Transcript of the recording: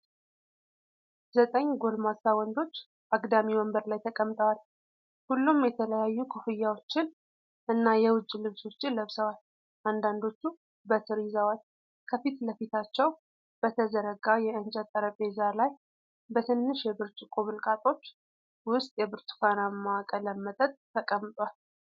ዘጠኝ ጎልማሳ ወንዶች አግዳሚ ወንበር ላይ ተቀምጠዋል። ሁሉም የተለያዩ ኮፍያዎችን እና የውጭ ልብሶችን ለብሰዋል፤ አንዳንዶቹም በትር ይዘዋል። ከፊት ለፊታቸው በተዘረጋ የእንጨት ጠረጴዛ ላይ በትንሽ የብርጭቆ ብልቃጦች ውስጥ የብርቱካናማ ቀለም መጠጥ ተቀምጧል።